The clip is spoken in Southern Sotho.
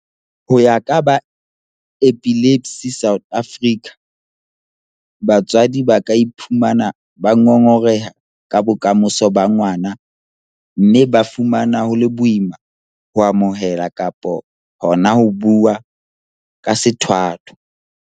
Ho ya ka ba Epilepsy South Africa, batswadi ba ka iphumana ba ngongoreha ka bokamoso ba ngwana mme ba fumana ho le boima ho amohela kapa hona ho bua ka sethwathwa.